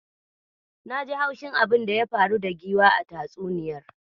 Naji haushin abinda ya faru da giwa a tatsuniyar.